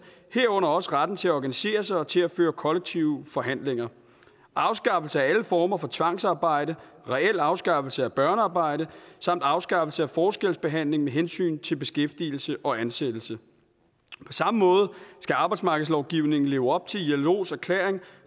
herunder også retten til at organisere sig og til at føre kollektive forhandlinger afskaffelse af alle former for tvangsarbejde reel afskaffelse af børnearbejde samt afskaffelse af forskelsbehandling med hensyn til beskæftigelse og ansættelse på samme måde skal arbejdsmarkedslovgivningen leve op til ilos erklæring